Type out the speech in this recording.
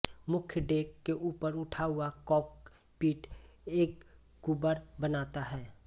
मुख्य डेक के ऊपर उठा हुआ कॉकपिट एक कूबड़ बनाता है